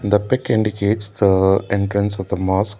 the pic indicates the entrance of the mosque.